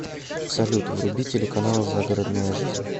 салют вруби телеканал загородная жизнь